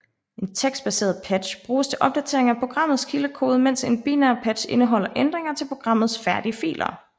En tekstbaseret patch bruges til opdatering af programmets kildekode mens en binær patch indeholder ændringer til programmets færdige filer